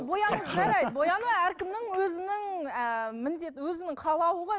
бояну жарайды бояну әркімнің өзінің ы міндеті өзінің қалауы ғой